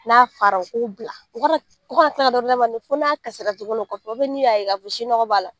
N'a fara, u k'o bila . U ka na taa dɔ wɛrɛ d'a ma fo n'a kasira tuguni o kɔfɛ n'u ya ye ka fɔ ko sin mi nege b'a la.